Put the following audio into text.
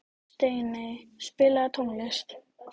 Steiney, spilaðu tónlist.